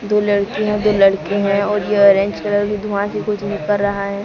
दो लड़कियां दो लड़के हैं और ये अरेंज कलर के धुआ से कुछ निकर रहा है।